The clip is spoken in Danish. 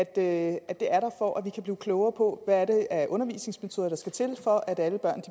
at det er der for at vi kan blive klogere på hvad det er for undervisningsmetoder der skal til for at alle børn